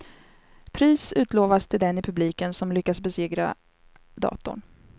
Pris utlovas till den i publiken som lyckas besegra datorn.